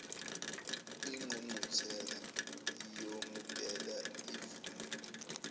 ingqungquthela iyomukela ivume